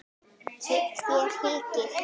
Þér hikið?